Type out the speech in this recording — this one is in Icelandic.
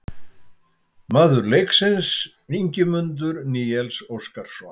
Maður leiksins: Ingimundur Níels Óskarsson